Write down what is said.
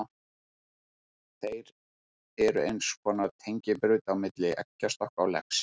Þeir eru eins konar tengibraut á milli eggjastokka og legs.